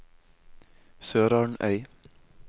SørarnØy